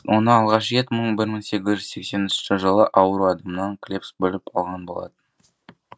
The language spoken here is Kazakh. оны алғаш рет бір мың сегіз жүз сексенінші жылы ауру адамнан клебс бөліп алған болатын